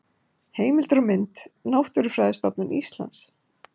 Heimildir og mynd: Náttúrufræðistofnun Íslands.